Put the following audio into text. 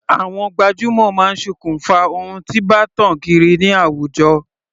Àwọn gbajúmọ̀ máa sokùn fa ohun tí bá tàn kiri ní àwùjọ.